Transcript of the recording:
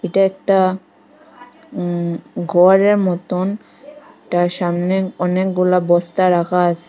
এটা একটা উম গরের মতোন এটার সামনে অনেকগুলা বস্তা রাখা আস--